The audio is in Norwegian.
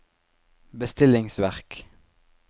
bestillingsverk